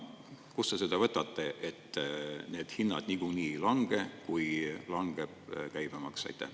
Kust te seda võtate, et need hinnad niikuinii ei lange, kui langeb käibemaks?